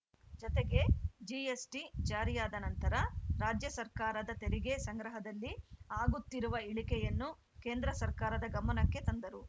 ಜತೆಗೆ ಜಿಎಸ್‌ಟಿ ಜಾರಿಯಾದ ನಂತರ ರಾಜ್ಯ ಸರ್ಕಾರದ ತೆರಿಗೆ ಸಂಗ್ರಹದಲ್ಲಿ ಆಗುತ್ತಿರುವ ಇಳಿಕೆಯನ್ನು ಕೇಂದ್ರ ಸರ್ಕಾರದ ಗಮನಕ್ಕೆ ತಂದರು